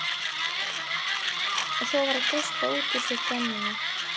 Og svo var að geispa út úr sér gremjunni.